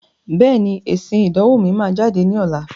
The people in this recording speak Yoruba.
Bẹ́ẹ̀ni, èsìn ìdánwò mi máa jáde ní ọ̀la.